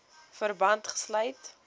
verband gesluit